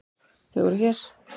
Þau voru hér.